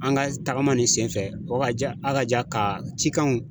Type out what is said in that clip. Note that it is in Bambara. An ka tagama nin sen fɛ, o ka ja, ha ka ja ka cikanw